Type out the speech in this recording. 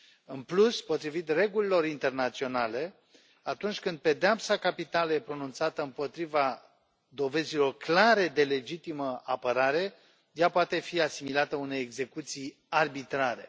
În plus, potrivit regulilor internaționale, atunci când pedeapsa capitală e pronunțată împotriva dovezilor clare de legitimă apărare, ea poate fi asimilată unei execuții arbitrare.